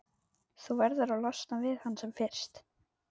Þú verður að losna við hann sem fyrst.